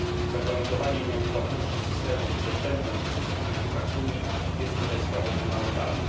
Zagwarantowanie nieodpłatności systemu i dostępu we wszystkich językach Unii jest tutaj sprawą fundamentalną.